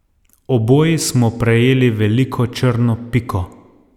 Oboji smo prejeli veliko črno piko.